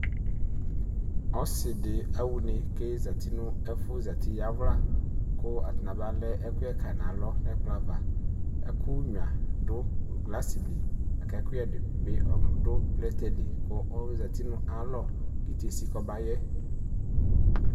Ɔsidi aɣa ʋne kʋ ezati nʋ ɛfʋ yawla kʋ atani aba lɛ ɛkʋyɛ kayi nʋ alɔ nʋ ɛkplɔ ava ɛkʋnyua dʋ glasi li lakʋ ɛkʋyɛdi bi dʋ plɛtɛli kʋ ɔzati nʋ ayʋ alɔ kʋ itiesi kɔbayɛ